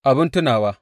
Abin tunawa.